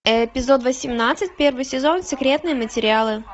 эпизод восемнадцать первый сезон секретные материалы